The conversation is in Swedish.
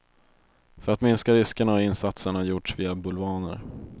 För att minska riskerna har insatserna gjorts via bulvaner.